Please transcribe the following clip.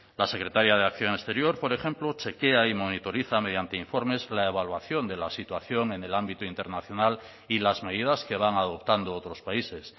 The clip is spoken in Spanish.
la secretaría de acción exterior por ejemplo chequea y monitoriza mediante informes la evaluación de la situación en el ámbito internacional y las medidas que van adoptando otros países